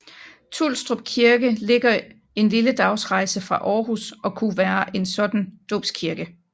Tulstrup Kirke ligger en lille dagsrejse fra Aarhus og kunne være en sådan dåbskirke